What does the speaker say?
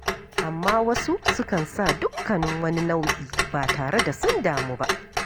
Amma wasu sukan sa dukkanin wani nau'i ba tare da sun damu ba.